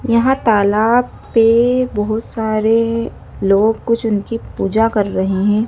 यहां तालाब पे बहोत सारे लोग कुछ उनकी पूजा कर रहे हैं।